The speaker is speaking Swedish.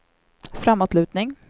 framåtlutning